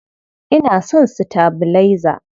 Ina son sitabilaiza.